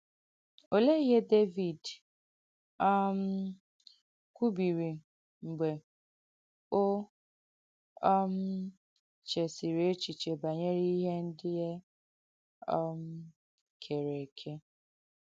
Ọléè ihe Dèvìd um kwùbìrī mgbe o um chèsìrī èchēchīē banyere ihe ndị e um kèrē èkē?